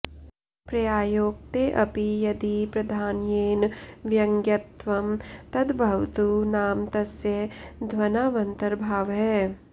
पर्यायोक्तेऽपि यदि प्राधान्येन व्यङ्ग्यत्वं तद्भवतु नाम तस्य ध्वनावन्तर्भावः